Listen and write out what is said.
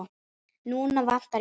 Núna vantar íbúðir.